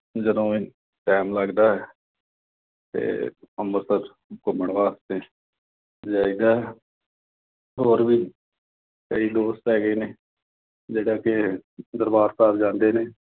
ਜਦੋਂ time ਲੱਗਦਾ। ਤੇ ਅੰਮ੍ਰਿਤਸਰ ਘੁੰਮਣ ਵਾਸਤੇ ਜਾਈਦਾ ਹੋਰ ਵੀ ਕਈ ਦੋਸਤ ਹੈਗੇ ਨੇ, ਜਿਹੜੇ ਕਿ ਦਰਬਾਰ ਸਾਹਿਬ ਜਾਂਦੇ ਨੇ।